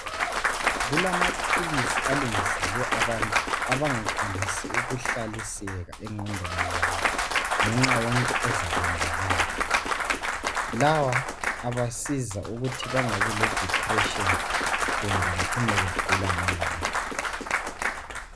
Kulamaphilisi alungiselwe abantu abangakwanisi ukuhlaliseka engqodweni zabo ngenxa yento ezayenzakala lawa abasiza ukuthi bengabi le depression kumbe bacine begula ngengqondo.